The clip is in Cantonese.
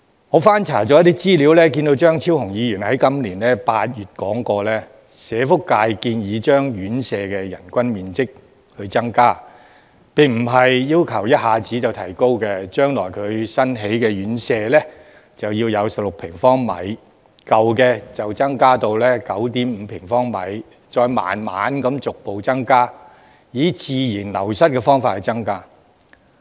我翻查資料，看到張超雄議員在今年8月說過，社會福利界並非要求一下子增加院舍的人均樓面面積，而是建議將來新建的院舍要有16平方米，舊的應增至 9.5 平方米，再慢慢逐步以自然流失的方式增加。